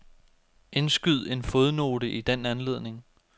Indskyd en fodnote i den anledning.